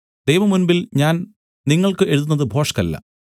ദൈവമുമ്പിൽ ഞാൻ നിങ്ങൾക്ക് എഴുതുന്നത് ഭോഷ്കല്ല